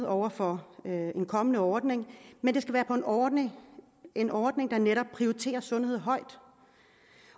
over for en kommende ordning men det skal være en ordning en ordning der netop prioriterer sundhed højt